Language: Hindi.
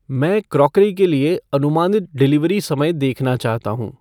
मैं क्रॉकरी के लिए अनुमानित डिलीवरी समय देखना चाहता हूँ ।